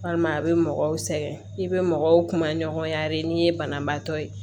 Walima a bɛ mɔgɔw sɛgɛn i bɛ mɔgɔw kuma ɲɔgɔnya de n'i ye banabaatɔ ye